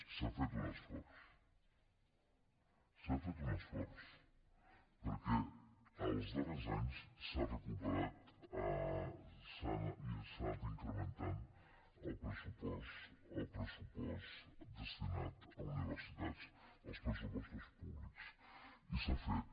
s’ha fet un esforç s’ha fet un esforç perquè els darrers anys s’ha recuperat i s’ha anat incrementant el pressupost destinat a universitats dels pressupostos públics i s’ha fet